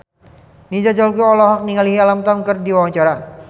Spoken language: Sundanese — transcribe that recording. Nina Zatulini olohok ningali Alam Tam keur diwawancara